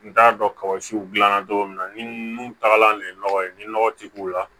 N t'a dɔn kabasiw gilan na cogo min na ni nu tagala nin ye nɔgɔ ye ni nɔgɔ ti k'u la